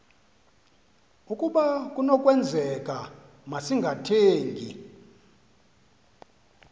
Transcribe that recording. ukaba kunokwenzeka masingathengi